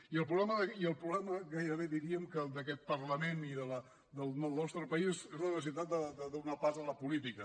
i el problema gairebé diríem que el d’aquest parlament i del nostre país és la necessitat de donar pas a la política